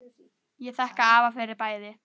Ég þakka afa fyrir bæði.